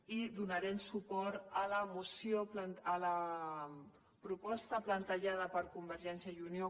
i donarem suport a la proposta plantejada per convergència i unió